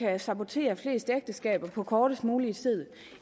at sabotere flest ægteskaber på kortest mulig tid